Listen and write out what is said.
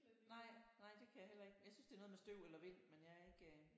Nej nej det kan jeg heller ikke jeg synes det er noget med støv eller vind men jeg er ikke